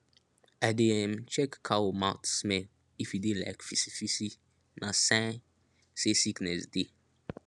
i dey um check cow mouth smell if e dey like fisifisi na sign say sickness dey